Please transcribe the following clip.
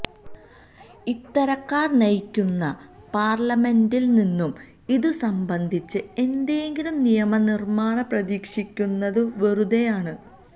ഇത്തരക്കാര് നയിക്കുന്ന പാര്ലിമെന്റില് നിന്നും ഇതു സംബന്ധിച്ച് എന്തെങ്കിലും നിയമനിര്മാണം പ്രതീക്ഷിക്കുന്നതും വെറുതെയാണ്